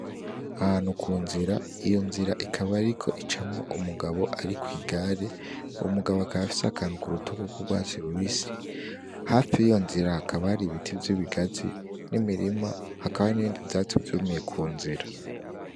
Ahantu ku nzira, iyo nzira ikaba iriko icamwo umugabo ari kw'igare. Uwo mugabo akaba afise akantu ku rutugu k'urwatsi rubisi. Hafi y'ivyo nzira hakaba hari ibiti vy'ibigazi n'imirima, hakaba n'ibindi vyatsi vyumiye ku nzira.